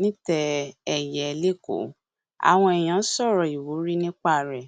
nítẹẹ ẹyẹ lẹkọọ àwọn èèyàn sọrọ ìwúrí nípa rẹ